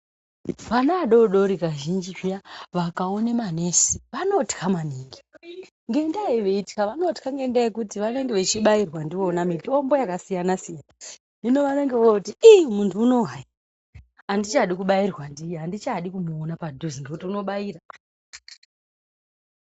Vana vadoodori kazhinji zviya vakaone manesi vanotya maningi. Ngendaa yei veitya, vanotya ngendaa yekuti vanenge vechibairwa ndivons mitombo yakasiyana-siyana. Hino vanenge vooti iii muntu uno hayi, handichadi kubairwa ndiye, handichadi kumuona padhuze nokuti unobaira.